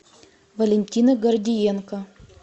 валентина гордиенко